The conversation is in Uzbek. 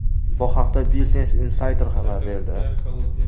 Bu haqda Business Insider xabar berdi .